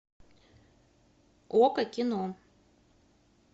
окко кино